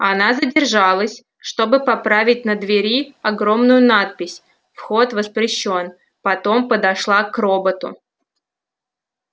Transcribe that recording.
она задержалась чтобы поправить на двери огромную надпись вход воспрещён потом подошла к роботу